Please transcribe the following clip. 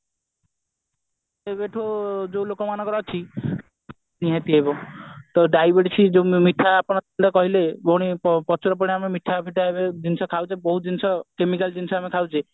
ଯେବେଠୁ ଯୋଉ ଲୋକମାନଙ୍କର ଅଛି ନିହାତି ଭାବେ ତ diabetic ସେ ଯୋଉ ମିଠା ଆପଣ କହିଲେ ଭଉଣୀ ପ୍ରଚୁର ପରିମାଣ ମିଠାଫିଟା ଜିନିଷ ଏବେ ଖାଉଛେ ବହୁତ ଜିନିଷ chemical ଜିନିଷ ଆମେ ଖାଉଛେ